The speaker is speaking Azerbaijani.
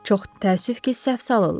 Çox təəssüf ki, səhv salırlar.